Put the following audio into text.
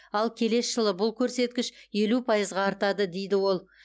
ал келесі жылы бұл көрсеткіш елу пайызға артады дейді ол